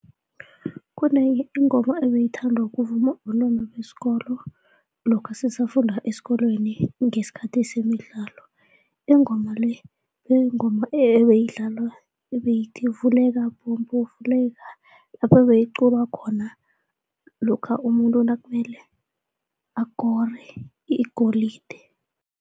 Kunenye ingoma ebeyithandwa kuvunywa bentwana besikolo lokha sisafunda esikolweni ngesikhathi semidlalo ingoma le, ebeyithi, vuleka mbobo vuleka, lapho beyiculwa khona lokha umuntu nakumele akore igolide.